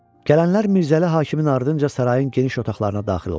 Gələnlər Mirzəli Hakimin ardınca sarayın geniş otaqlarına daxil oldular.